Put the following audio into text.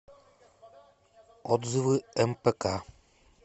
отзывы мпк